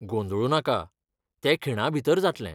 गोंदळू नाका, ते खिणाभीतर जातलें.